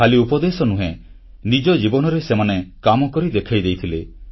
ଖାଲି ଉପଦେଶ ନୁହେଁ ନିଜର ଜୀବନରେ ସେମାନେ କାମକରି ଦେଖାଇ ଦେଇଥିଲେ